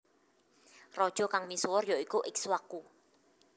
Raja kang misuwur ya iku Ikswaku